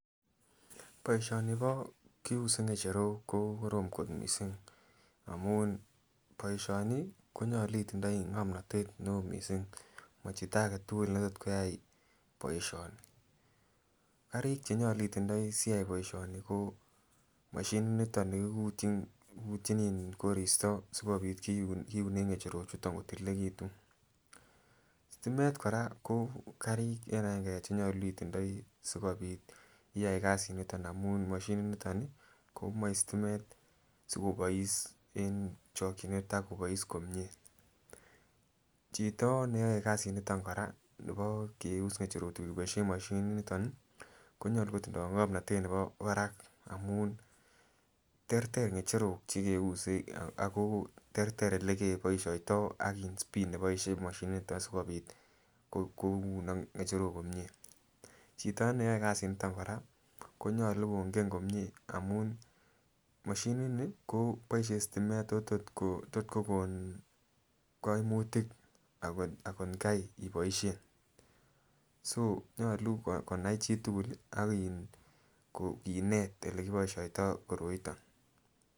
Boisionibo kiuse ngecherok kokorom kot missing amun boisioni konyolu itindoi ngomnotet neoo missing mochito aketul netot koyai boisioni. Karik chenyolu itindoi siyai boisioni ko moshinit niton nikikikutyin kikuktyin in koristo sikobit kiun kiunen ngecherok chuton kotililekitun. stimet kora ko karik eng agenge chenyolu itindoi sikobit iyai kasiniton amun moshinit niton komoe stimet sikobois eng chokyinet ak kobois komie chito neyoe kasit niton kora nibo keus ngecherok chu keboisien moshinit niton ih konyolu kotindoi ngomnotet nebo barak amun terter ngecherok chekeuse ako terter elekeboisioto ak in speed neboisien moshinit nito asikobit kounok ngecherok komie. Chito neyoe kasit niton kora konyolu kongen komie amun moshinit ni koboisien stimet ako tot kokon koimutik akotkai iboisien so nyolu konai chitukul ak in ko kinet olekiboisioto koroiton